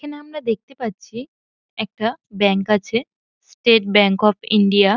এখানে আমরা দেখতে পাচ্ছি একটা ব্যাঙ্ক আছে স্টেট ব্যাঙ্ক অফ ইন্ডিয়া ।